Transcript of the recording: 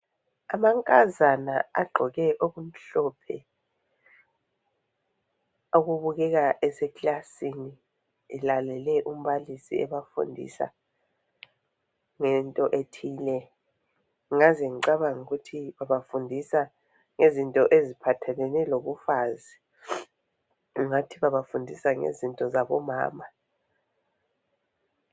Amankazana agqoke okumhlophe. Okubukeka eseklasini. Elalele umbalisi ebafundisa ngento ethile. Ngingaze ngicabange ukuthi babafundisa ngezinto ephathelane lobufazi. Ungathi babafundisa ngezinto zabomama.